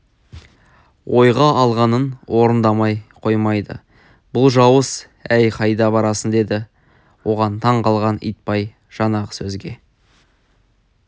ойға алғанын орындамай қоймайды бұл жауыз әй қайда барасың деді оған таң қалған итбай жаңағы сөзге